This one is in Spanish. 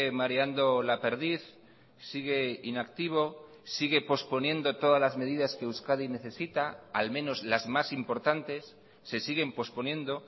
mareando la perdiz sigue inactivo sigue posponiendo todas las medidas que euskadi necesita al menos las más importantes se siguen posponiendo